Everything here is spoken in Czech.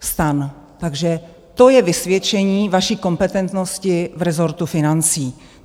Takže to je vysvědčení vaší kompetentnosti v rezortu financí.